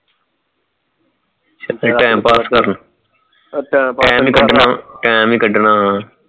ਤੇ time pass ਕਰਨਾ time ਹੀ time ਹੀ ਕਢਣਾ ਹਾਂ